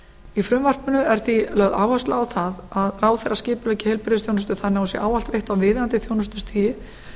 í frumvarpinu er því lögð áhersla á það að ráðherra skipuleggi heilbrigðisþjónustu þannig að hún sé ávallt veitt á viðeigandi þjónustustigi